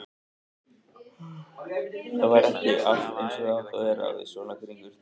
Það var ekki allt eins og það átti að vera við svona kringumstæður.